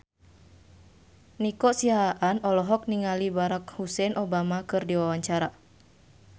Nico Siahaan olohok ningali Barack Hussein Obama keur diwawancara